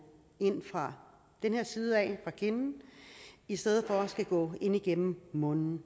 ind fra kindsiden i stedet for at skulle gå ind igennem munden